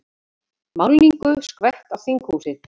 Málningu skvett á þinghúsið